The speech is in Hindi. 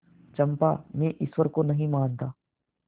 चंपा मैं ईश्वर को नहीं मानता